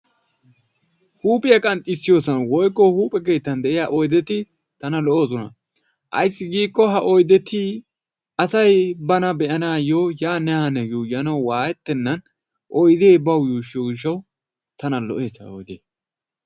Huuphiya qanxxissiyoosan woykko huuphe keettan de'iyaa oyddeti tanna lo''oosona. ayssi giiko ha oyddeti asay bana be'anawu yaanne haanne yuuyyanaw waayetenan oydde bawu yuushshiyo gishshawu tana lo''ees ha oyddee.